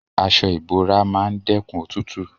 Aso ibora maa n dekun otutu